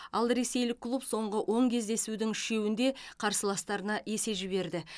ал ресейлік клуб соңғы он кездесудің үшеуінде қарсыластарына есе жіберді